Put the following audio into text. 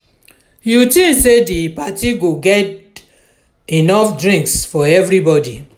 you think say di party go get enough drinks for everybody?